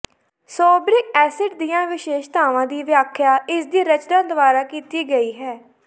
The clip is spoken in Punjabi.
ਸੋਬਰਿਕ ਐਸਿਡ ਦੀਆਂ ਵਿਸ਼ੇਸ਼ਤਾਵਾਂ ਦੀ ਵਿਆਖਿਆ ਇਸਦੀ ਰਚਨਾ ਦੁਆਰਾ ਕੀਤੀ ਗਈ ਹੈ